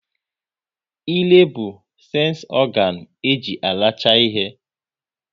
Ịre bụ sensi ọganu e ji aracha ihe